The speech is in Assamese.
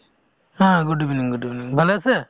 হা good evening good evening , ভালে আছে?